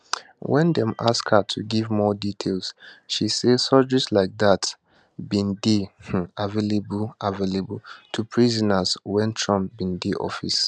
wen dem ask her to give more details she say surgeries like dat bin dey um available available to prisoners wen trump bin dey office